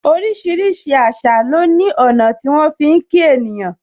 Orísìírísìí àṣà lo ní ọ̀nà tí wọn fi ń kí ènìyàn.